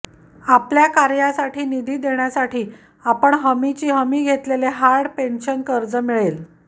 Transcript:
आपल्या कार्यासाठी निधी देण्यासाठी आपण हमीची हमी घेतलेले हार्ड पेन्शन कर्ज मिळेल